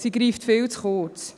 Sie greift viel zu kurz.